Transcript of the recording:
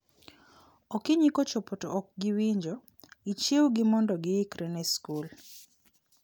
Okinyi kochopo to ok giwinjo, ichiew gi mondo gi ikre ne skul